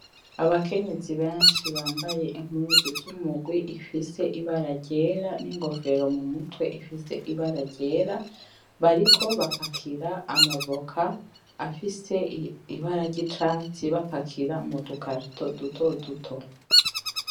Abakenyezi benshi bambaye impuzu zumugwi ifise ibara ryera ni nkofero mumutwe ifise ibara ryera, bariko bapakira amavoka afise ibara ryicatsi bapakira mudu karito duto duto.